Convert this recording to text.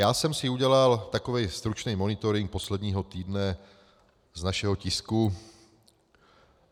Já jsem si udělal takový stručný monitoring posledního týdne z našeho tisku.